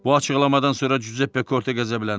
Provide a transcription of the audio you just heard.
Bu açıqlamadan sonra Cüzeppe Korte qəzəbləndi.